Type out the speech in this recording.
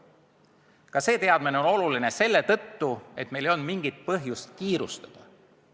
Ka see teadmine on oluline selle tõttu, et oleks selge: meil ei olnud mingit põhjust kiirustada.